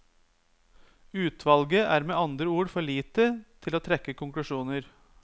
Utvalget er med andre ord for lite til å trekke konklusjoner.